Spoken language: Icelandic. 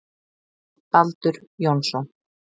Baldur Jónsson.